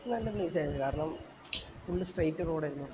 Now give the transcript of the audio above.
place നല്ല place ആയിരുന്നു കാരണം full straight road എന്നെ